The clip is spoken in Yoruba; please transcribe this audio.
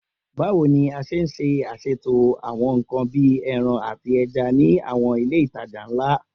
Bawo ni a ṣe ṣaṣeto awọn nkan bii ẹran ati ẹja ni awọn ile itaja nla?